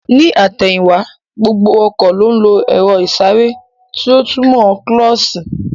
Ní àtẹ̀yìn wá, gbogbo ọkọ̀ ló ń lo èro ìsáré tí ó túmò kílósī